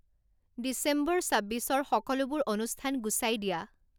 ডিচেম্বৰ চাব্বিশৰ সকলোবোৰ অনুষ্ঠান গুচাই দিয়া